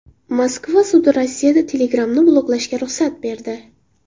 Moskva sudi Rossiyada Telegram’ni bloklashga ruxsat berdi.